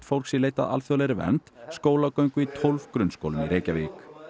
fólks í leit að alþjóðlegri vernd skólagöngu í tólf grunnskólum í Reykjavík